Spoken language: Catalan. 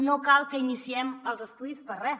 no cal que iniciem els estudis per a res